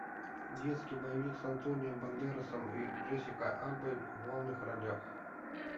детский боевик с антонио бандерасом и джессикой альбой в главных ролях